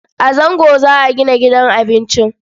A Zango za a gina gidan abincin.